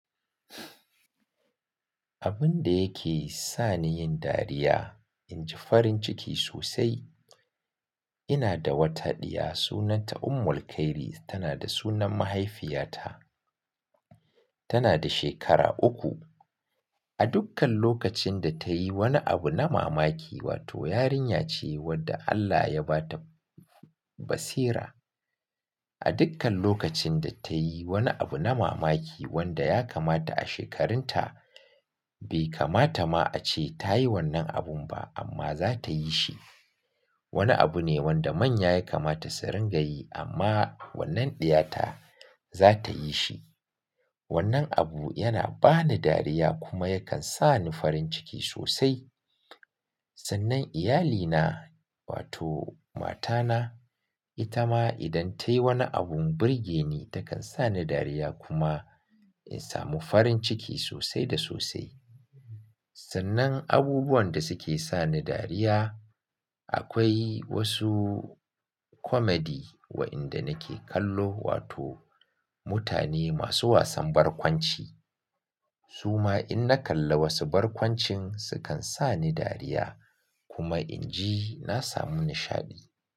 Abin da yake sa ni yin dariya inji farin ciki sosai. Ina da wata ɗiya sunanta Ummulkhairi tana da sunan mahaifiyata. Tana da shekara uku. A dukkan lokacin da ta yi wani abu na mamaki wato yarinya ce wadda Allah ya ba ta basira. A dukkan lokacin da ta yi wani abu na mamaki wanda ya kamata a shekarunta bai kamata ma a ce ta yi wannan abun ba amma za ta yi shi. Wani abu ne wanda manya ya kamata su rinƙa yi amma wannan ɗiyata za ta yi shi. Wannan abu yana ba ni dariya kuma yakan sa ni farin ciki sosai. Sannan iyalina wato matana ita ma idan ta yi wani abun burge ni takan sa ni dariya kuma in samu farin ciki sosai da sosai. Sannan abubuwan da suke sa ni dariya akwai wasu komedi waɗanda nake kallo wato mutane masu wasan barkwanci. Su ma in na kalla wasu barkwancin sukan sa ni dariya kuma inji na samu nishaɗi.